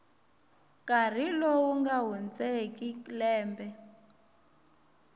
nkarhi lowu nga hundzeki lembe